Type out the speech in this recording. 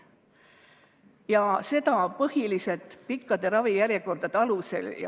Ja seda põhiliselt pikkade ravijärjekordade alusel.